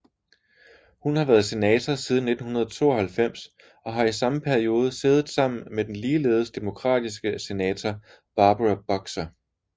Hun har været senator siden 1992 og har i samme periode siddet sammen med den ligeledes demokratiske senator Barbara Boxer